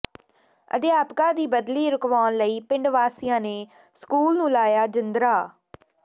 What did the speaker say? ਅਧਿਆਪਕਾ ਦੀ ਬਦਲੀ ਰੁਕਵਾਉਣ ਲਈ ਪਿੰਡ ਵਾਸੀਆਂ ਨੇ ਸਕੂਲ ਨੂੰ ਲਾਇਆ ਜਿੰਦਰਾ